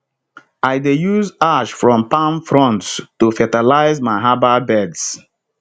i dey use ash from palm fronds to fertilize my herbal beds